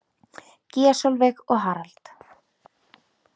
Gígja Sólveig og Harald.